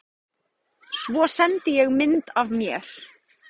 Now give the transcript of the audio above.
Svo sendi ég mynd af mér.